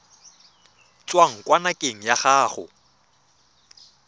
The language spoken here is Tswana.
tswang kwa ngakeng ya gago